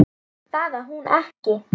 Það á hún ekki.